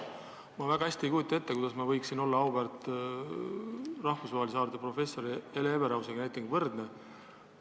Ma väga hästi ei kujuta ette, kuidas ma võiksin olla võrdne näiteks rahvusvahelise haardega professoriga, auväärse Hele Everausiga.